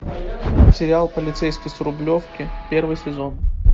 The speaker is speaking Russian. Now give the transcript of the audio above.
сериал полицейский с рублевки первый сезон